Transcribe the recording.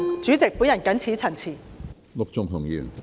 主席，我謹此陳辭。